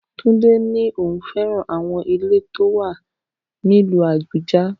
Tunde ní òun fẹ́ràn àwọn ilé tó wà nílùú Abuja